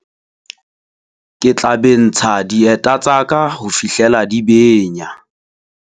Ke tla bentsha dieta tsa ka ho fihlela di benya.